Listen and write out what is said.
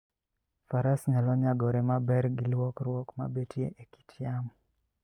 Faras nyalo nyagore maber gi lokruok ma betie e kit yamo.